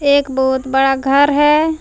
एक बहुत बड़ा घर है।